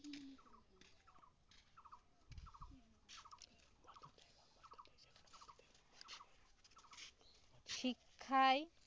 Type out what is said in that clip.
শিক্ষায়